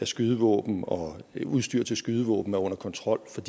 skydevåben og udstyr til skydevåben er under kontrol for